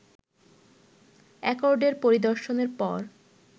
অ্যাকর্ডের পরিদর্শনের পর